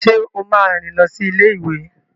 Ṣé o máa rìn lọ sí ilé-ìwé?